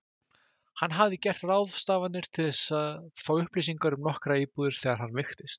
Hann hafði gert ráðstafanir til að fá upplýsingar um nokkrar íbúðir þegar hann veiktist.